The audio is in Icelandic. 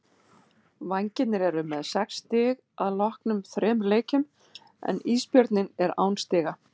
Vængirnir eru með sex stig að loknum þremur leikjum en Ísbjörninn er án stiga.